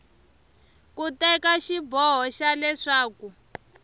ku teka xiboho xa leswaku